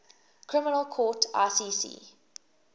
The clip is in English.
criminal court icc